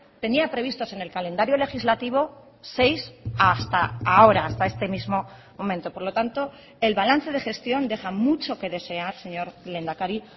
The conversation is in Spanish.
tenía previstos en el calendario legislativo seis hasta ahora hasta este mismo momento por lo tanto el balance de gestión deja mucho que desear señor lehendakari